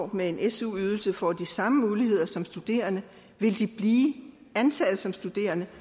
med en su ydelse får de samme muligheder som studerende vil de blive antaget som studerende